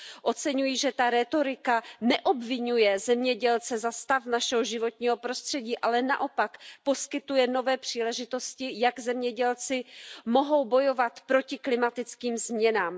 Oceňuji, že ta rétorika neobviňuje zemědělce za stav našeho životního prostředí, ale naopak poskytuje nové příležitosti, jak zemědělci mohou bojovat proti klimatickým změnám.